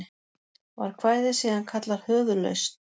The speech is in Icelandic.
Var kvæðið síðan kallað Höfuðlausn.